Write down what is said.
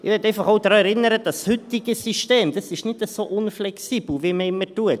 Ich möchte einfach auch daran erinnern, dass das heutige System nicht so unflexibel ist, wie man immer tut.